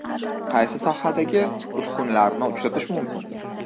Qaysi sohadagi uskunalarni uchratish mumkin?